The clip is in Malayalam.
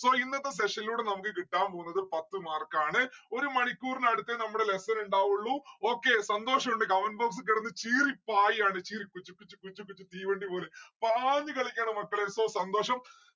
so ഇന്നത്തെ session ലൂടെ നമ്മുക്ക് കിട്ടാൻ പോന്നത് പത്ത് mark ആണ്. ഒരു മണിക്കൂർന് അടുത്തെ നമ്മളെ lesson ഉണ്ടാവുള്ളു. okay സന്തോഷുണ്ട് comment box കെടന്ന് ചീറിപ്പായാണ് ചീറി കുച്ച് കുച്ച് കുച്ച് കുച്ച് തീവണ്ടി പോലെ പാഞ്ഞുകളിക്കാണ് മക്കളെ so സന്തോഷം